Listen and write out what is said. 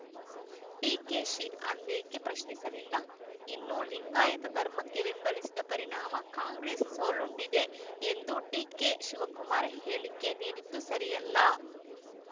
ಡಿಕೆಶಿ ಅಂದೇಕೆ ಪ್ರಶ್ನಿಸಲಿಲ್ಲ ಇನ್ನು ಲಿಂಗಾಯತ ಧರ್ಮಕ್ಕೆ ಬೆಂಬಲಿಸಿದ ಪರಿಣಾಮ ಕಾಂಗ್ರೆಸ್‌ ಸೋಲುಂಡಿದೆ ಎಂದು ಡಿಕೆಶಿವಕುಮಾರ್‌ ಹೇಳಿಕೆ ನೀಡಿದ್ದು ಸರಿಯಲ್ಲ